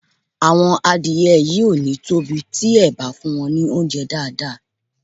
Àwọn adìẹ yìí ò ní tóbi tí e bá fún wọn ní óunjẹ́ dáàdáà